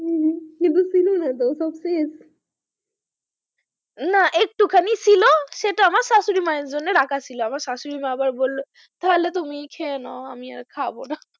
কিন্তু ছিলোনা তো সব শেষ না একটুখানি ছিল সেটা আমার শাশুড়ি মায়ের জন্য রাখা ছিল আবার শাশুড়ি মা বললো তাহলে তুমিই খেয়ে নাও আমি আর খাবো না,